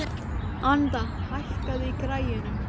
Anita, hækkaðu í græjunum.